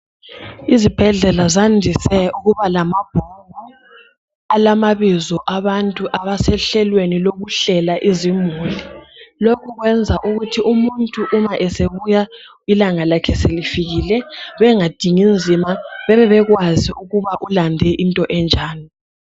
Izibhedlela zandise ukuba lamabhuku alamabizo abantu abesehlelweni lokuhlela izimuli , lokhu kwenza ukuthi umuntu uma esebuya ilanga lakhe selifikile bengadingi nzima bebe bekwazi ukuba ulande into enjani